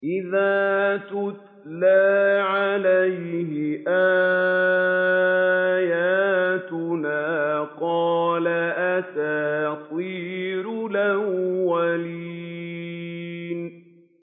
إِذَا تُتْلَىٰ عَلَيْهِ آيَاتُنَا قَالَ أَسَاطِيرُ الْأَوَّلِينَ